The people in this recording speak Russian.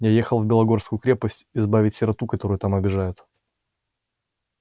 я ехал в белогорскую крепость избавить сироту которую там обижают